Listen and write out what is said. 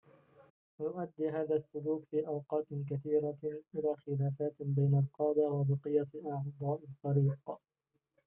ويؤدي هذا السلوك في أوقات كثيرة إلى خلافات بين القادة وبقية أعضاء الفريق